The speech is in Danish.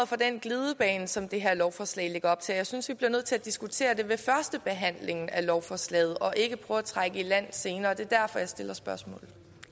for den glidebane som det her lovforslag lægger op til jeg synes vi bliver nødt til at diskutere det ved førstebehandlingen af lovforslaget og ikke prøve at trække i land senere det er derfor jeg stiller spørgsmålet